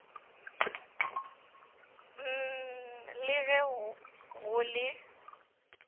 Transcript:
html le ge go le